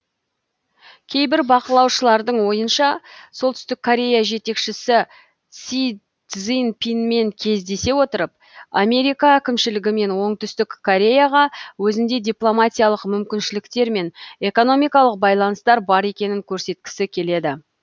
кейбір бақылаушылардың ойынша солтүстік корея жетекшісі си цзиньпинмен кездесе отырып америка әкімшілігі мен оңтүстік кореяға өзінде дипломатиялық мүмкіншіліктер мен экономикалық байланыстар бар екенін көрсеткісі келеді